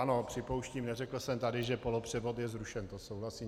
Ano, připouštím, neřekl jsem tady, že polopřevod je zrušen, to souhlasím.